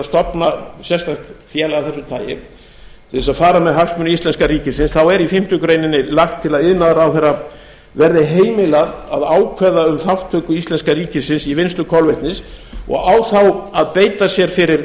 stofna sérstakt félag af þessu tagi til þess að fara með hagsmuni íslenska ríkisins þá er í fimmtu grein lagt til að iðnaðarráðherra verði heimilað að ákveða um þátttöku íslenska ríkisins í vinnslu kolvetnis og á þá að beita sér fyrir